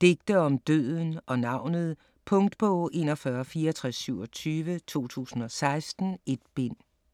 Digte om døden og navnet. Punktbog 416427 2016. 1 bind.